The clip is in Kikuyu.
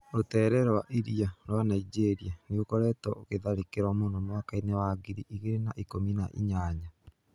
Rũteere rwa iria rwa Ningeria nĩũkoretwo ũkĩtharĩkĩrwo mũno mwakainĩ wa ngiri igĩrĩ na ikũmi na ĩnyanya.